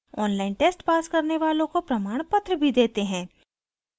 online test pass करने वालों को प्रमाणपत्र देते हैं